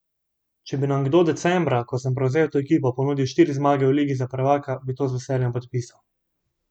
Če bi nam kdo decembra, ko sem prevzel to ekipo, ponudil štiri zmage v ligi za prvaka, bi to z veseljem podpisali.